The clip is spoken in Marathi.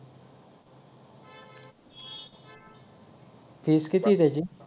फीज किती आहे त्याची